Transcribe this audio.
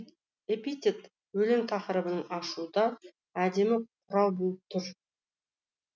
эпитет өлең тақырыбын ашуда әдемі құрал болып тұр